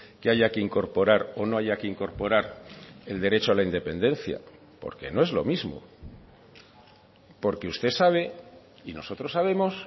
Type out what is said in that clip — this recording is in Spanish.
que haya que incorporar o no haya que incorporar el derecho a la independencia porque no es lo mismo porque usted sabe y nosotros sabemos